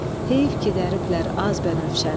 Heyf ki dəriblər az bənövşəni.